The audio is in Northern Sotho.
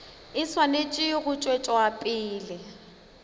e swanetše go tšwetša pele